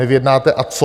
Nevyjednáte, a co?